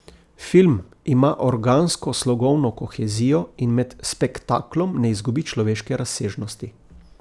Film ima organsko slogovno kohezijo in med spektaklom ne izgubi človeške razsežnosti.